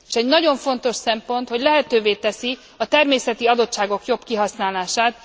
S egy nagyon fontos szempont, hogy lehetővé teszi a természeti adottságok jobb kihasználását.